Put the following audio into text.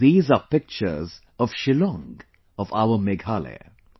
These are pictures of Shillong of our Meghalaya